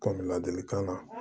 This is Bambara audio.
Kɔni ladilikan na